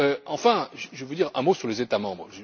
Enfin, je veux dire un mot sur les États membres.